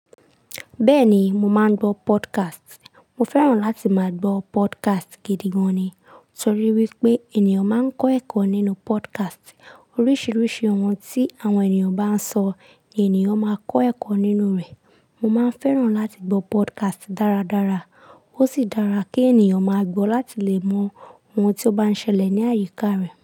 Bẹ́ẹ̀ ni, mo máa ń gbọ́ podcast. Mo fẹ́ràn láti máa gbọ́ podcast gidi gan ni, torí wípé ènìyàn máa ń kọ́ ẹ̀kọ́ nínú podcast. Oríṣiríṣi ohun tí àwọn ènìyàn bá ń sọ ni ènìyàn máa kọ́ ẹ̀kọ́ nínú rẹ̀. Mo máa ń fẹ́ràn láti gbọ́ podcast dáradára. Ó sì dára kí ènìyàn máa gbọ́ láti lè mọ ohun tí ó bá ń ṣẹlẹ̀ ní àyíká rẹ̀.